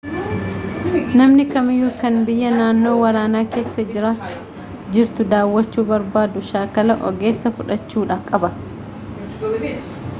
namni kamiyyuu kan biyya naannoo waraanaa keessa jirtu daawwachuu barbaadu shaakalaa ogeessaa fudhachuu qaba